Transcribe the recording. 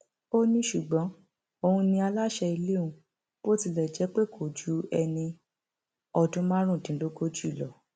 ó ní ṣùgbọn òun ni aláṣẹ ilé ọhún bó tilẹ jẹ pé kò ju ẹni ọdún márùndínlógójì lọ